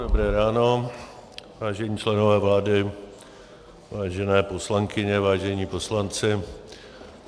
Dobré ráno, vážení členové vlády, vážené poslankyně, vážení poslanci.